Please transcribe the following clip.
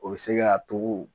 O be se ka to .